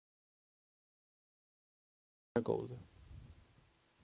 Verði þér að góðu.